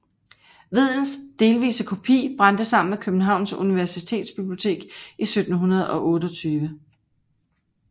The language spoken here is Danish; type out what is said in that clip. Vedels delvise kopi brændte sammen med Københavns universitetsbibliotek i 1728